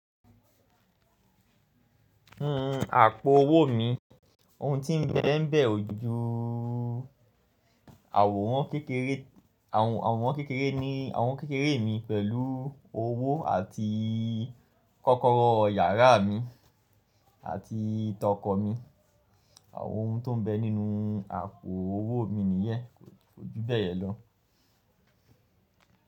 N n àpò owó mi, ohun tí ń bẹ ń bẹ ò ju àwòrán kékeré, àwòrán kékeré ni àwòrán kékeré mi pẹ̀lú owó àti kọ́kọ́rọ́ yàrá mi àti tọkọ mi. Àwọn ohun tó ń bẹ nínú àpò owó mi nìyẹ́n, kò ju bẹ́ẹ̀ lọ.